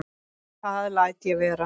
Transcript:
Það læt ég vera